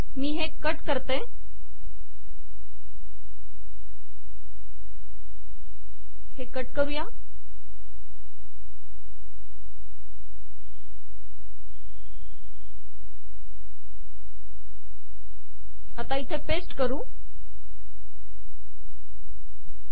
मी हे कट करून इथे पेस्ट केले